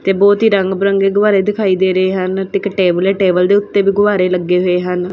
ਏਹ ਬਹੁਤ ਹੀ ਰੰਗ ਬਿਰੰਗੇ ਗੁਬਾਰੇ ਦਿਖਾਈ ਦੇ ਰਹੇ ਹਨ ਇਕ ਟੇਬਲ ਏ ਟੇਬਲ ਦੇ ਉੱਤੇ ਵੀ ਗੁਬਾਰੇ ਲੱਗੇ ਹੋਏ ਹਨ।